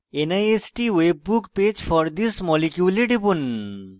nist web page for this molecule এ টিপুন